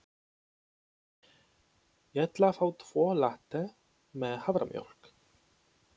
Ég ætla að fá tvo latte með haframjólk.